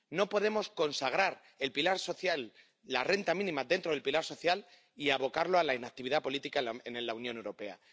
No podemos consagrar el pilar social, la renta mínima dentro del pilar social y abocarlo a la inactividad política en la Unión Europea.